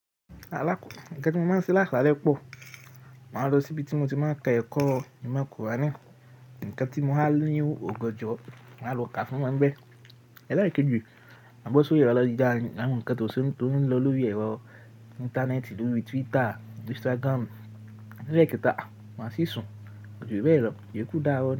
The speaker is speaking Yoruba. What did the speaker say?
Alákòkọ́, ǹkan tí mo máa ń ṣe lásalẹ́ pọ̀, màá lọ síbi tí mo ti máa n ta ẹ̀kọ́. Nkan tí mo há a ní òganjo, màá lọ ká fún wọn n bẹ́ẹ̀. Eleekeji, à bọ̀ sóri erọ̀ ayelujara, awon ǹkan tó ṣele, tó n lọ lórí ẹ̀rọ íńtánẹ́ẹ̀tì, lórí Twitter, Instagram. Ni eleekéta ah, màá sì sùn, kojú bee lò, ìyokú dàaro.